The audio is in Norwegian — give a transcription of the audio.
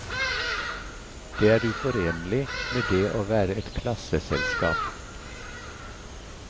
Det er uforenlig med det å være et klasseselskap.